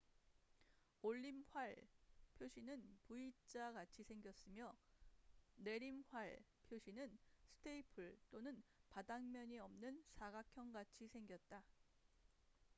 """올림활" 표시는 v자같이 생겼으며 "내림활" 표시는 스테이플 또는 바닥면이 없는 사각형같이 생겼다.